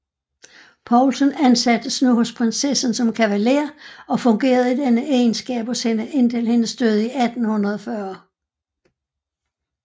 Paulsen ansattes nu hos prinsessen som kavalér og fungerede i denne egenskab hos hende indtil hendes død 1840